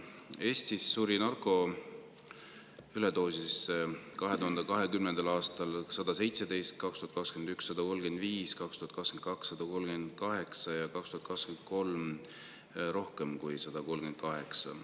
Eestis suri narkoüledoosi tõttu 2020. aastal 117 inimest, 2021. aastal 135, 2022. aastal 138 ja 2023 rohkem kui 138.